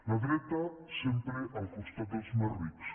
la dreta sempre al costat dels més rics